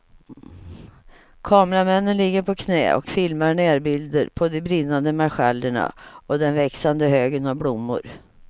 Kameramännen ligger på knä och filmar närbilder på de brinnande marschallerna och den växande högen av blommor.